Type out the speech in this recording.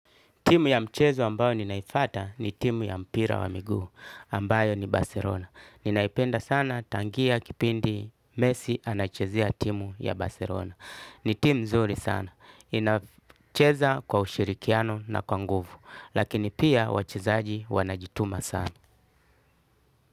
Timu ya mchezo ambayo ninaifuata ni timu ya mpira wa miguu ambayo ni Barcelona. Ninaipenda sana tangia kipindi mesi anachezea timu ya Baserona. Ni timu mzuri sana inacheza kwa ushirikiano na kwa nguvu lakini pia wachezaji wanajituma sana.